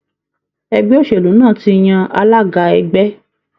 Ẹgbẹ́ òṣèlú náà tí yàn alága ẹgbẹ́.